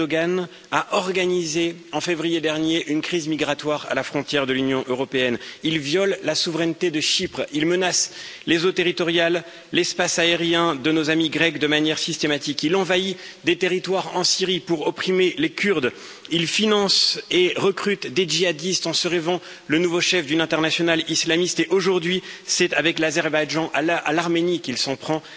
Erdoğan a organisé en février dernier une crise migratoire à la frontière de l'Union européenne, il viole la souveraineté de Chypre, il menace les eaux territoriales, l'espace aérien de nos amis grecs de manière systématique, il envahit des territoires en Syrie pour opprimer les Kurdes, il finance et recrute des djihadistes en se rêvant le nouveau chef d'une internationale islamiste et, aujourd'hui, c'est avec l'Azerbaïdjan, à l'Arménie qu'il s'en prend.